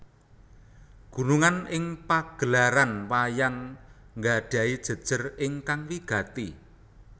Gunungan ing pagelaran wayang nggadhahi jejer ingkang wigati